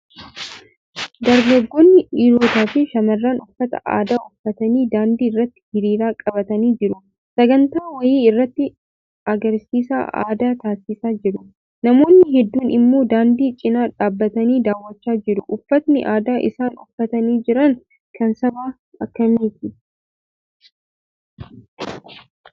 Dargaggoonni, dhiirotaafi shamarran uffata aadaa uffatanii daandii irratti hiriira qabatanii jiru. Sagantaa wayii irratti agarsiisa aadaa taasisaa jiru. Namoonni hedduun immoo daandii cina dhaabbatanii daawwachaa jiru. Uffatni aadaa isaan uffatanii jiran kan saba kamiiti?